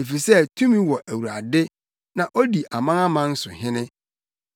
efisɛ tumi wɔ Awurade na odi amanaman so hene.